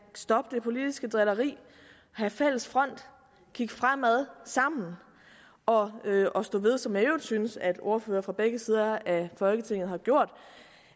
stoppe det politiske drilleri have fælles front kigge fremad sammen og og stå ved som øvrigt synes at ordførere fra begge sider af folketinget har gjort